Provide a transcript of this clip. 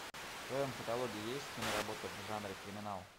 в твоем каталоге есть киноработа в жанре криминал